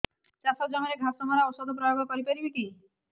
ଚାଷ ଜମିରେ ଘାସ ମରା ଔଷଧ ପ୍ରୟୋଗ କରି ପାରିବା କି